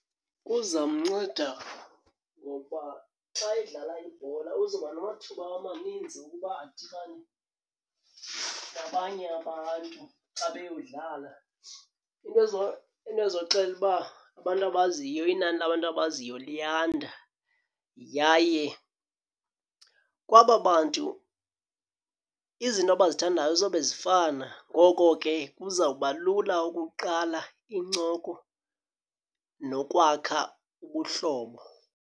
Kuza mnceda ngoba xa edlala ibhola uzoba namathuba amaninzi ukuba adibane nabanye abantu xa beyodlala, into into ezoxela uba abantu abaziyo inani labantu abaziyo liyanda. Yaye kwaba bantu izinto abazithandayo zoba zifana, ngoko ke kuzawuba lula ukuqala incoko nokwakha ubuhlobo.